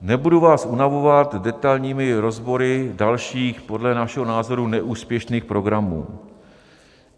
Nebudu vás unavovat detailními rozbory dalších podle našeho názoru neúspěšných programů.